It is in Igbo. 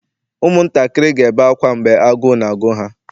ụmụntakịrị ga-ebe akwa mgbe agụụ na-agụ ha